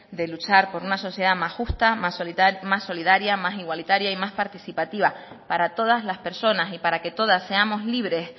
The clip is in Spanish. de luchar por una sociedad más justa más solidaria más igualitaria y más participativa para todas las personas y para que todas seamos libres